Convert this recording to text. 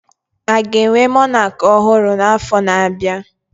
Aga enwe Monak ọhụrụ na afo na abịa?